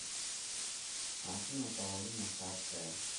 афина паулина саке